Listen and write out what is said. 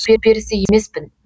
су перісі емес пін